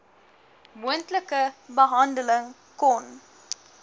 moontlike behandeling kon